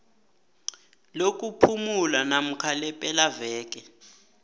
lokuphumula namkha lepelaveke